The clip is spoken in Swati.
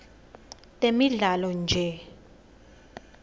temidlalo nje